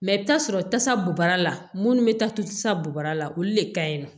Mɛ i bɛ taa sɔrɔ tasa bora munnu bɛ taa to tasa bo bara la olu le ka ɲi nɔ